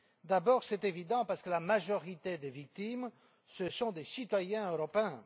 D'abord, c'est évident, parce que la majorité des victimes sont des citoyens européens.